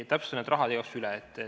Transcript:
Täpsustan need rahaasjad igaks juhuks üle.